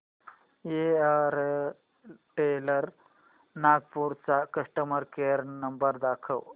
Airtel Nagpur चा customer care number दाखव